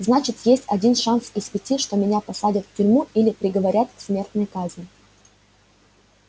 значит есть один шанс из пяти что меня посадят в тюрьму или приговорят к смертной казни